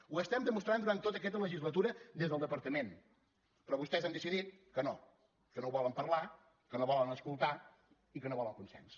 ho estem demostrant durant tota aquesta legislatura des del departament però vostès han decidit que no que no ho volen parlar que no volen escoltar i que no volen consens